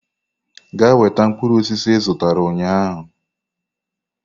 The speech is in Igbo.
Gaa weta mkpụrụ osisi ị zụtara ụnyahụ!